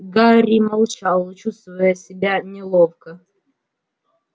гарри молчал чувствуя себя неловко